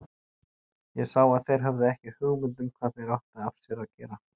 Ég sá að þeir höfðu ekki hugmynd um hvað þeir áttu af sér að gera.